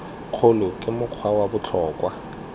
kgolo ke mokgwa wa botlhokwa